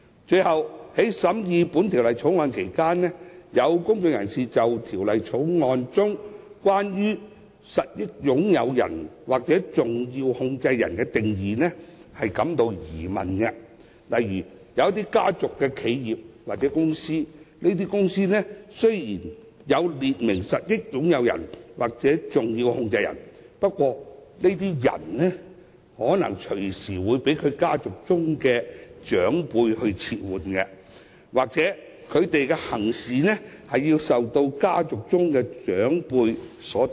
最後，在審議《條例草案》期間，有公眾人士對《條例草案》中有關實益擁有人或重要控制人的定義存疑，例如一些家族企業或公司雖已列明實益擁有人或重要控制人，但這些人卻可能隨時會被其家族的長輩撤換，又或是他們的言行會受家族的長輩左右。